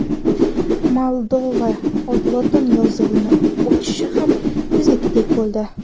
Moldova lotin yozuviga o‘tishi ham biznikiday bo‘ldi.